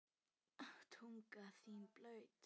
Tunga þín blaut.